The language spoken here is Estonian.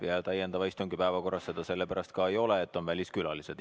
Ja täiendava istungi päevakorras seda sellepärast ka ei ole, et seal on väliskülalised.